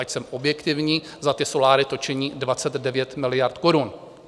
Ať jsem objektivní, za soláry to činí 29 miliard korun.